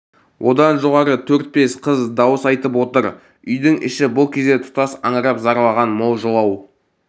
одан жоғары төрт-бес қыз дауыс айтып отыр үйдің іші бұл кезде тұтас аңырап зарлаған мол жылау